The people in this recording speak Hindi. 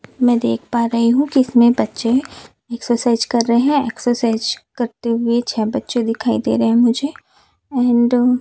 मैं देख पा रही हूं कि इसमें बच्चे एक्सरसाइज कर रहे हैं एक्सरसाइज करते हुए छ बच्चे दिखाई दे रहे हैं मुझे एंड --